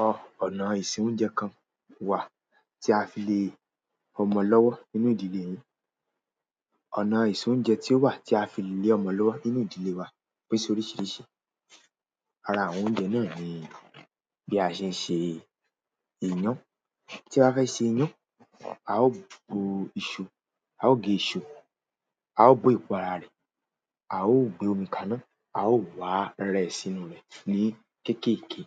Àwọn ọnà ìsinwú jẹun kan wà tí a fi lè ọmọ lọ́wọ́ nínú ìdílè yín. Ọ̀nà ìsè oúnjẹ kan tí ó wà tí a fi lé ọmọ lọ́wọ́ nínú ìdílé wa pín sí oríṣìíríṣìí. Ara àwọn oúnjẹ náà ni bí a ṣe ń ṣe iyán. Tí a bá fẹ́ ṣe iyán, a ó bu iṣu, a ó gé iṣu yẹn, a óò bó èpo ara rẹ̀, a óò gbé omi kaná, a óò wá rẹ́ẹ sínú rẹ̀ ní kéékèèké.